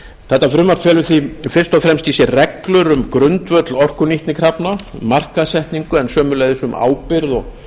þetta frumvarp felur því fyrst og fremst í sér reglur um grundvöll orkunýtnikrafna markaðssetningu en sömuleiðis um ábyrgð og